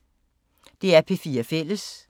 DR P4 Fælles